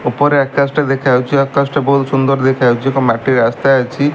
ଉପରେ ଆକାଶ ଟି ଦେଖା ଯାଉଛି ଆକାଶ ଟି ବୋହୁତ ସୁନ୍ଦର୍ ଦେଖା ଯାଉଛି ଏକ ମାଟି ରାସ୍ତା ଅଛି।